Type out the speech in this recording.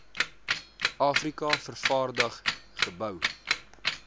afrika vervaardig gebou